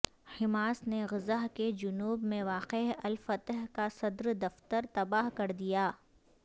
Hamas نے Gaza کے جنوب میں واقع الفتح کا صدر دفتر تباہ کر دیا